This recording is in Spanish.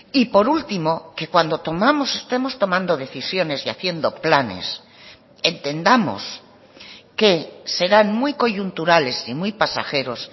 y por último que cuando tomamos estemos tomando decisiones y haciendo planes entendamos que serán muy coyunturales y muy pasajeros